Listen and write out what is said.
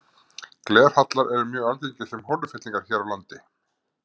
Glerhallar eru mjög algengir sem holufyllingar hér á landi.